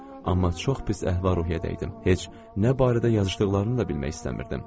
Amma çox pis əhval-ruhiyyədə idim, heç nə barədə yazışdıqlarını da bilmək istəmirdim.